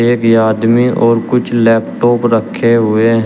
एक आदमी और कुछ लैपटॉप रखे हुए हैं।